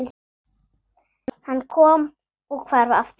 Hann kom og hvarf aftur.